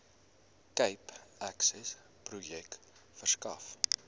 cape accessprojek verskaf